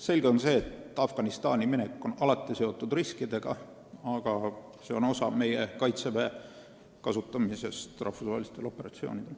Selge on see, et Afganistani minek on alati seotud riskidega, aga see on osa meie Kaitseväe kasutamisest rahvusvahelistel operatsioonidel.